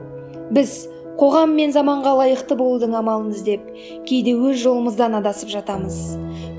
біз қоғам мен заманға лайықты болудың амалын іздеп кейде өз жолымыздан адасып жатамыз